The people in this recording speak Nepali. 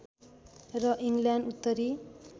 र इङ्ल्यान्ड उत्तरी